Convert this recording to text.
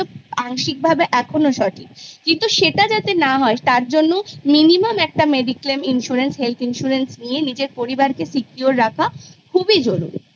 আংশিকভাবে আজও সঠিক কিন্তু সেটা যাতে না হয় তার জন্য minimum একটা health insurance নিয়ে পরিবারকে secure রাখা খুবই জরুরি